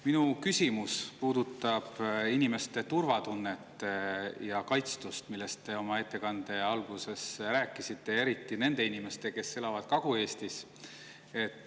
Minu küsimus puudutab inimeste turvatunnet ja kaitstust, millest te oma ettekande alguses rääkisite, eriti nende inimeste, kes elavad Kagu-Eestis.